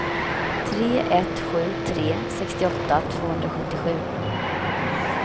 tre ett sju tre sextioåtta tvåhundrasjuttiosju